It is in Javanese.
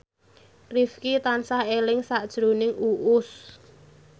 Rifqi tansah eling sakjroning Uus